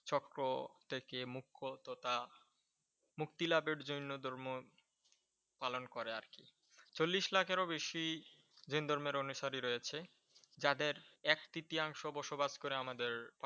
চক্র থেকে মুক্ত তথা মুক্তি লাভের জন্য ধর্ম পালন করে আর কি। চল্লিশ লাখেরও বেশি জৈন ধর্মের অনুসারী রয়েছে। যাদের এক তৃতীয়াংশ বসবাস করে আমাদের